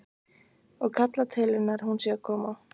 Og kallar til hennar að hún sé að koma.